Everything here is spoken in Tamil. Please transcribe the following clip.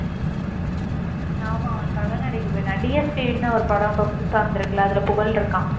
உம் ஆமா அவன் படம் நடிக்க போயிட்டான். DSP ன்னு ஒரு படம் இப்ப புதுசா வந்திருக்கல்ல? அதில புகழ் இருக்கான்